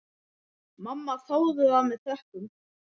Mamma þáði það með þökkum.